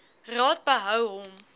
raad behou hom